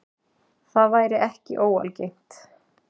Það væri ekki óalgengt